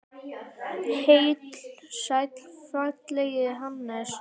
Heill og sæll félagi Hannes!